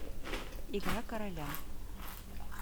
игра короля